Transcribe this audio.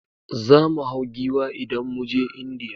Zamu mu hau Giwa indan muje indiya